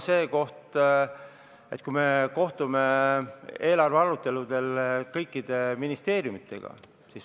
Me kohtume eelarve aruteludel kõikide ministeeriumidega.